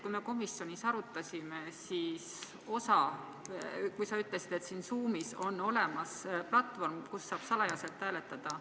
Kui me komisjonis teemat arutasime, siis sa ütlesid, et Zoomis on olemas platvorm, kus saab salajaselt hääletada.